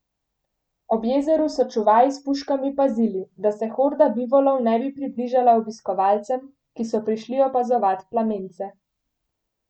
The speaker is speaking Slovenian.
Ob jezeru so čuvaji s puškami pazili, da se horda bivolov ne bi približala obiskovalcem, ki so prišli opazovat plamence.